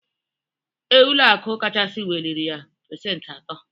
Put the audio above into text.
Ee, ụlọakụ kachasị weliriya pesenti ato.